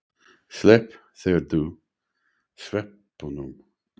Slepptirðu sveppunum?